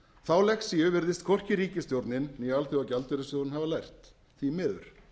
þá lexíu virðist hvorki ríkisstjórnin né alþjóðagjaldeyrissjóðurinn hafa lært því miður